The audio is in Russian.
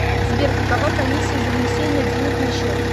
сбер какова комиссия за внесение денег на счет